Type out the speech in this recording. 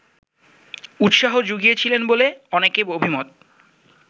উৎসাহ জুগিয়েছিল বলে অনেকের অভিমত